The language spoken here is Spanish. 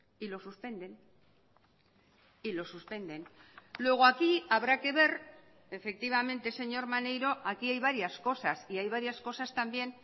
y lo suspenden y lo suspenden luego aquí habrá que ver efectivamente señor maneiro aquí hay varias cosas y hay varias cosas también